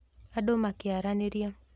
Andũ makĩaranĩria